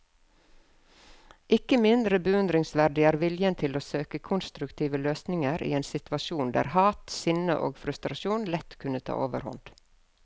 Ikke mindre beundringsverdig er viljen til å søke konstruktive løsninger i en situasjon der hat, sinne og frustrasjon lett kunne ta overhånd.